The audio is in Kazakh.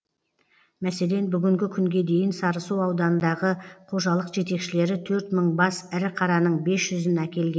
мәселен бүгінгі күнге дейін сарысу ауданындағы қожалық жетекшілері төрт мың бас ірі қараның бес жүзін әкелген